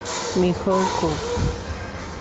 михалков